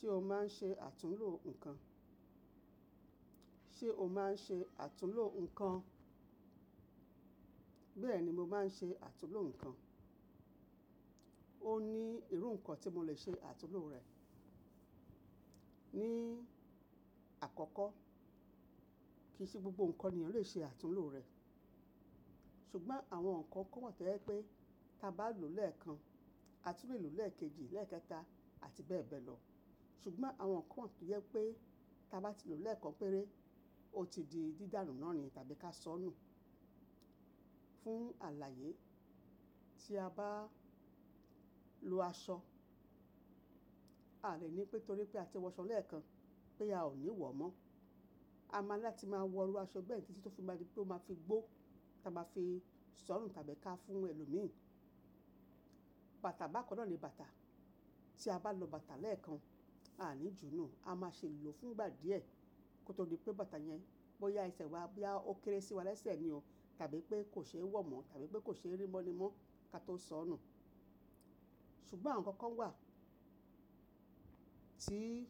Ṣé o máa ń ṣe àtúnlo nǹkan? Ṣé o máa ń ṣe àtúnlo nǹkan? Bẹ́ẹ̀ ni mo máa ń ṣe àtúnlo nǹkan. Ó ní irú nǹkan tí mo lè ṣe àtúnlo rẹ̀. Ni àkọ́kọ́, kì í ṣe gbogbo nǹkan ni ẹ lè ṣe àtúnlo rẹ̀. Ṣùgbọ́n àwọn nǹkan nnkan wa tó jẹ pé tí a bá lòó lẹ́ẹ̀kan, a tún lè lòó lẹ́ẹ̀kejì, lẹ́ẹ̀kẹta àti bẹ́ẹ̀ bẹ́ẹ̀ lọ. Ṣùgbọ́n àwọn nǹkan wọ́n tó jẹ pé tí a bá ti lòó lẹ́ẹ̀kan péré, ó ti di dídànu náà ni tàbí ká sọnù. Fún àlàyé, tí a bá lò aṣọ, a lè ní pé torí pé a ti wọ aṣọ lẹ́ẹ̀kan pé a ò ní wọ̀ mọ́. A máa ní láti máa wọ irú aṣọ bẹ́ẹ̀ tí tó fi máa di pé ó máa fi gbó tí a máa fi sọnù tàbí ká fún ẹlòmíràn. Bàtà bákan náà ni bàtà. Tí a bá lọ bàtà lẹ́ẹ̀kan, a ní jùú nù. A máa ṣe lòó fún ìgbà díẹ̀. Kó tó di pé bàtà yẹn bóyá isẹ́ wa bí a ó kéré sí wa lẹ́sẹ̀ ni o tàbí pé kò ṣe é wọ̀ mọ́ tàbí pé kò ṣe é rí mọ́ ni mọ́ ká tó sọnù. Ṣùgbọ́n àwọn nǹkan wà tí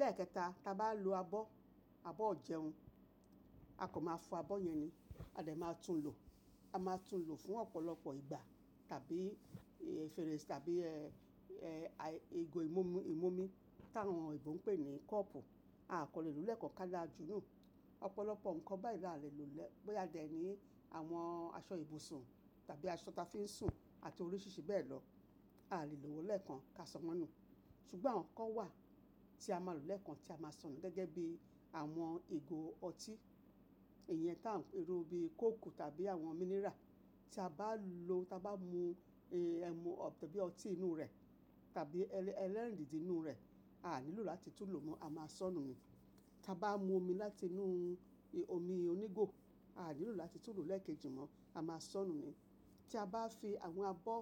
lẹ́ẹ̀kẹta tí a bá lòó abọ́, abọ́ ọ̀jẹun, a kò máa fọ abọ́ yẹn ni. A dẹ̀ máa tún lòó. A máa tún lòó fún ọ̀pọ̀lọpọ̀ ìgbà tàbí eh fẹrèsé tàbí eh, eh, à, ì, ìgò ìmúmu, ìmúmi táwọn èebó ń pè ní kọ́ọ̀pù, a kò lè lòó lẹ́ẹ̀kan ká là jùú nù. Ọ̀pọ̀lọpọ̀ nǹkan báyìí là lè lòó lẹ́-- bóyá a dẹ̀ ní àwọn aṣọ ibùsùn tàbí aṣọ tí a fi ń sùn àti oríṣiríṣi bẹ́ẹ̀ lọ. A a lè lòó lẹ́ẹ̀kan ká sọ́ won nù. Ṣùgbọ́n àwọn nǹkan wà tí a máa lòó lẹ́ẹ̀kan tí a máa sọnù gẹ́gẹ́ bí àwọn ìgò ọtí, iyẹn tá ń perú bí kóòkù tàbí àwọn mineral. Tí a bá lòó, tí a bá mú eh ẹmu ọ̀ tàbí ọtí inú rẹ̀ tàbí ẹlẹ́, ẹlẹ́rìndodo ínù rẹ̀, a a nílò láti tún lòó mọ́, a máa sọnù ni. Tí a bá mú omi láti inú omi onígò, a nílò láti tún lòó lẹ́ẹ̀kejì mọ́, a máa sọnù ni. Tí a bá fi àwọn abọ́,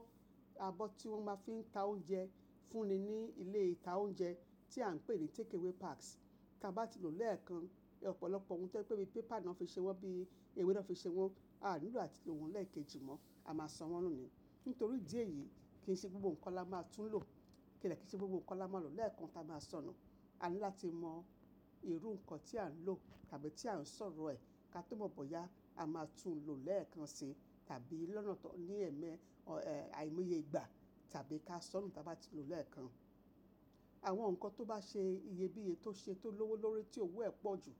abọ́ tí wọ́n máa fi ń ta oúnjẹ fúnni ní ilé ìta oúnjẹ tí à ń pè ní takeaway packs, tí a bá ti lòó lẹ́ẹ̀kan, ọ̀pọ̀lọpọ̀ ohun tó jẹ pé bíi paper náà fi ṣe wọ́n, bí ewé náà fi ṣe wọ́n, a nílò láti lòó wọn lẹ́ẹ̀kejì mọ́, a máa sọ́ wọ́n nù ni. Nítorí idí ẹ̀yìí kì í ṣe gbogbo nǹkan la máa tún lòó. Kí de kí í ṣe gbogbo nǹkan la máa lòó lẹ́ẹ̀kan tí a máa sọnù. A ní láti mọ irú nǹkan tí à ń lòó tàbí tí à ń sọ̀rọ̀ ẹ̀ ká tó mọ̀ bóyá a máa tún lòó lẹ́ẹ̀kan sí tàbí lọ́nà tó, ní ẹ̀ẹ́mẹ́, ọ, eh, àìmoye ìgbà tàbí ká sọnù tí a bá ti lòó lẹ́ẹ̀kan. Àwọn nǹkan tó bá ṣe iyebiye tó ṣe tó lówó lórí tí òwò ẹ̀ pọ̀ jù,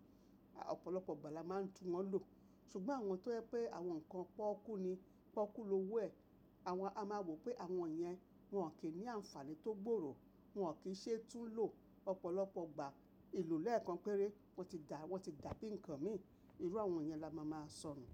à, ọ̀pọ̀lọpọ̀ ìgbà la máa ń tún wọ́n lòó. Ṣùgbọ́n àwọn tó yẹ pé àwọn nǹkan pọ́okú ni, poọ́kú lówó ẹ̀, àwọn, a máa wò pé àwọn yẹn wọn ò kí ní àǹfààní tó gbòòrò. Wọn ò kí í ṣe tún lòó ọ̀pọ̀lọpọ̀ ìgbà. Ilo lẹ́ẹ̀kan péré, wọ́n ti dà, wọ́n ti dà bíi nǹkan míì. Irú àwọn yẹn la máa máa sọnù.